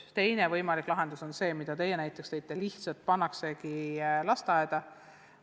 Teine võimalik lahendus on see, mille teie näiteks tõite: laps lihtsalt pannakse teise keelega lasteaeda.